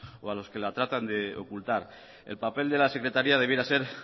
o a los que la tratan de ocultar el papel de la secretaría debiera ser